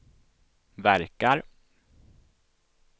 verkar